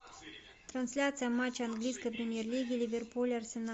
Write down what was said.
трансляция матча английской премьер лиги ливерпуль арсенал